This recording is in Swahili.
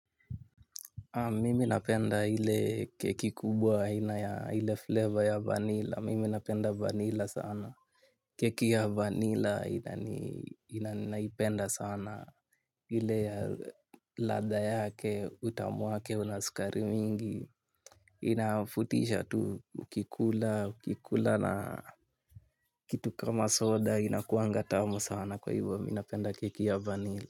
Mimi napenda hile keki kubwa, hile flavor ya vanilla. Mimi napenda vanilla sana. Keki ya vanilla naipenda sana. Hile latha yake, utamu wake, unaskari mingi. Inafutisha tu ukikula, ukikula na kitu kama soda inakuanga tamu sana kwa hivyo. Minapenda keki ya vanilla.